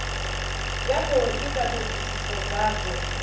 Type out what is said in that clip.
ya khou ita thodisiso dzadzo